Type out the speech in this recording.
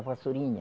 A vassourinha.